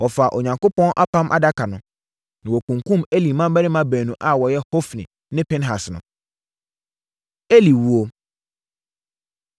Wɔfaa Onyankopɔn Apam Adaka no, na wɔkunkumm Eli mmammarima baanu a wɔyɛ Hofni ne Pinehas no. Eli Wuo